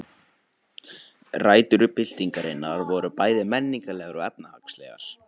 Rætur byltingarinnar voru bæði menningarlegar og efnahagslegar.